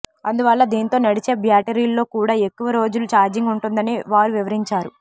అందువల్ల దీంతో నడిచే బ్యాటరీల్లో కూడా ఎక్కువ రోజులు ఛార్జింగ్ ఉంటుందని వారు వివరించారు